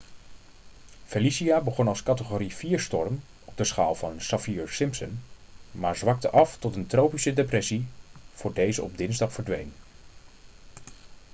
felicia begon als categorie 4-storm op de schaal van saffir-simpson maar zwakte af tot een tropische depressie voor deze op dinsdag verdween